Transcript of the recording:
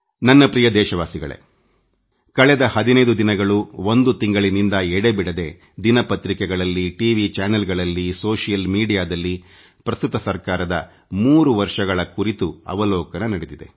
ನನ್ನ ನಲ್ಮೆಯ ದೇಶವಾಸಿಗಳೇ ಕಳೆದ ಹದಿನೈದು ದಿನಗಳಿಂದನಿರಂತರವಾಗಿದಿನ ಪತ್ರಿಕೆಗಳಲ್ಲಿ ಟಿ ವಿ ವಾಹಿನಿಗಳಲ್ಲಿ ಸಾಮಾಜಿಕ ತಾಣಗಳಲ್ಲಿ ಪ್ರಸಕ್ತ ಸರ್ಕಾರದ 3 ವರ್ಷಗಳ ಆಡಳಿತ ಕುರಿತು ಪರಾಮರ್ಶೆಸಮೀಕ್ಷೆ ಅವಲೋಕನ ನಡೆಯುತ್ತಿದೆ